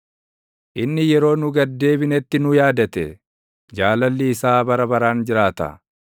Inni yeroo nu gad deebinetti nu yaadate; Jaalalli isaa bara baraan jiraata.